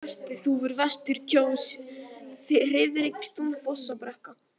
Svörtuþúfur, Vestur-Kjós, Friðrikstún, Fossabrekka